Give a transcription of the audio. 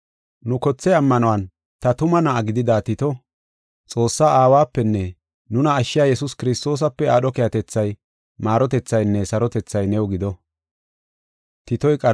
Nu kothe ammanuwan ta tuma na7aa gidida Tito, Xoossaa Aawapenne nuna ashshiya Yesuus Kiristoosape aadho keehatethay, maarotethaynne sarotethay new gido.